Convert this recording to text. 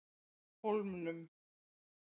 Hólmum